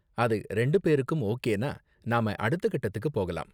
அது ரெண்டு பேருக்கும் ஓகேனா, நாம அடுத்த கட்டத்துக்கு போகலாம்.